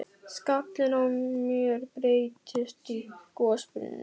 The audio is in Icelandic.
Skallinn á mér breytist í gosbrunn.